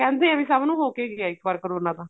ਕਹਿੰਦੇ ਏ ਵੀ ਸਭ ਨੂੰ ਹੋ ਕੇ ਗਿਆ ਇੱਕ ਵਾਰ ਕਰੋਨਾ ਤਾਂ